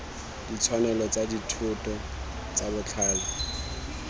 ditshwanelo tsa dithoto tsa botlhale